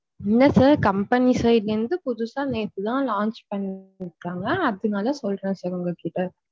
இல்ல sir company side ல இருந்து புதுசா நேத்து தான் launch பண்ணீருக்காங்க அதுனால சொல்ற்றேன் sir உங்ககிட்ட.